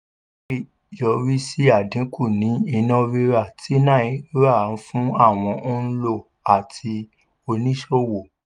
eléyìí lè yọrí sí àdínkù ní iná rírà ti náírà fún àwọn òǹlò àti oníṣòwò.